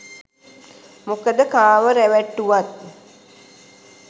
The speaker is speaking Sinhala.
මොකද කාව රැවට්ටුවත්